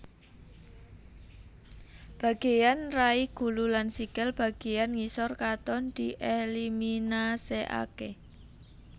Bageyan rai gulu lan sikil bageyan ngisor katon dieliminasekake